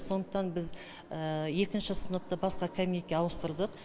сондықтан біз екінші сыныпты басқа кабинетке ауыстырдық